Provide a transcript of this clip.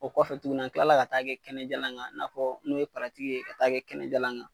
O kɔfɛ tuguni an tila ka t'a kɛ kɛnɛjalan kan i n'a fɔ n'o ye ye ka t'a kɛ kɛnɛjalan kan